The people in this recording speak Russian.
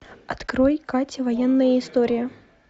открой катя военная история